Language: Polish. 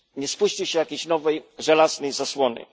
Nie spuści się jakiejś nowej żelaznej zasłony.